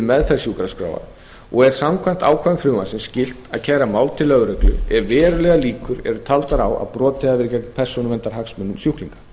meðferð sjúkraskráa og er samkvæmt ákvæðum frumvarpsins skylt að kæra mál til lögreglu ef verulegar líkur eru taldar á að brotið hafi verið gegn persónuverndarhagsmunum sjúklinga